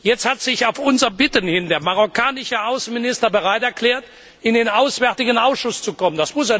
Jetzt hat sich auf unser Bitten hin der marokkanische Außenminister bereit erklärt, in den Auswärtigen Ausschuss zu kommen.